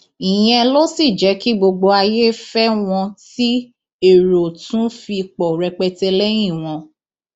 ìyẹn ló sì jẹ kí gbogbo ayé fẹ wọn tí èrò tún fi pọ rẹpẹtẹ lẹyìn wọn